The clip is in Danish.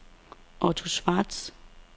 Otto Schwartz